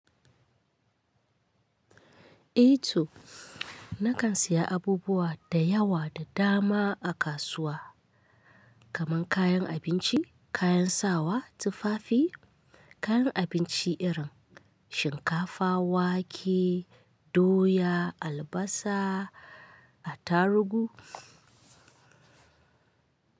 Eto, nakan siya abubuwa da yawa da dama a kasuwa, kaman kayan abinci, kayan sawa tufafin kayan abinci irin shinkafa wake doya albasa attaruhu.